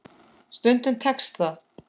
Stundum tekst það.